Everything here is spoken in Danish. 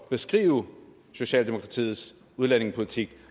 beskrive socialdemokratiets udlændingepolitik